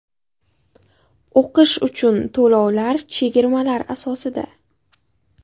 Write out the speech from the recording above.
O‘qish uchun to‘lovlar chegirmalar asosida!